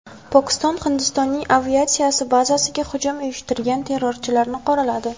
Pokiston Hindistonning aviatsiya bazasiga hujum uyushtirgan terrorchilarni qoraladi.